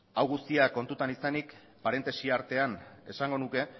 hau guztia kontutan izanik parentesi artean esango nuke